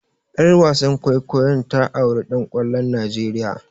Ƴar wasan kwaikwayon ta auri ɗan kwallon Nigeria.